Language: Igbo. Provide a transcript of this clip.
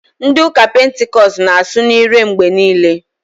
Ndị ụka Pentikọst na- asụ n'ire mgbe niile.